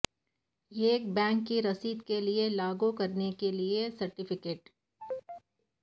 ایک بینک کی رسید کے لئے لاگو کرنے کے لئے سرٹیفکیٹ